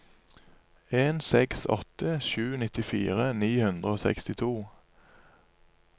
en seks åtte sju nittifire ni hundre og sekstito